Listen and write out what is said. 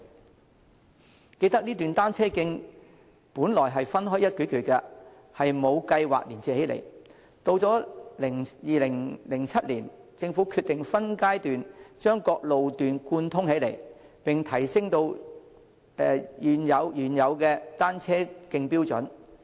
猶記得，這段單車徑本來是分開一段段的，並無計劃連接起來；去到2007年，政府決定分階段把各路段貫通起來，並提升原有單車徑標準。